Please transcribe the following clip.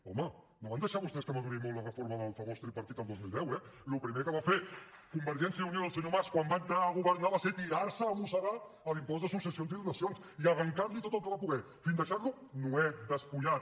home no van deixar vostès que madurés molt la reforma del famós tripartit el dos mil deu eh el primer que va fer convergència i unió i el senyor mas quan van entrar a governar va ser tirarse a mossegar l’impost de successions i donacions i arrencarli tot el que va poder fins a deixarlo nuet despullat